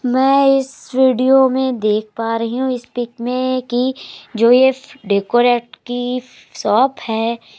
मै इस वीडियो में देख पा रही हूं इस पिक में कि जो ये डेकोरेट की शॉप है।